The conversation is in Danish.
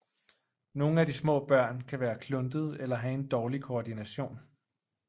Nogle af de små børn kan være kluntede eller have en dårlig koordination